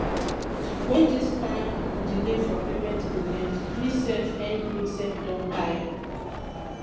wen dis kin delay for payment go end me sef end me sef don tire